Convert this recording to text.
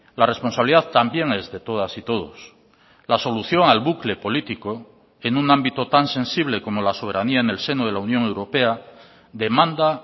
la responsabilidad también es de todas y todos la solución al bucle político en un ámbito tan sensible como la soberanía en el seno de la unión europea demanda